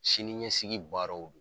Sini ɲɛsigi baaraw